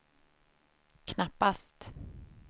knappast